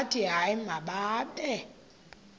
bathi hayi mababe